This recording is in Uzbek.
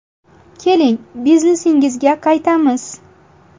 Keling, biznesingizga qaytamiz.